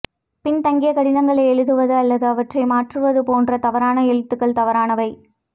பின்தங்கிய கடிதங்களை எழுதுவது அல்லது அவற்றை மாற்றுவது போன்ற தவறான எழுத்துகள் தவறானவை